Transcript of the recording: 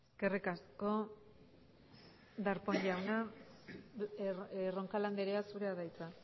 eskerrik asko darpón jauna roncal andrea zurea da hitza